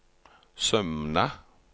Sømna